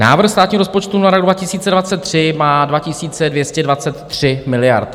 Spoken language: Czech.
Návrh státního rozpočtu na rok 2023 má 2223 miliard.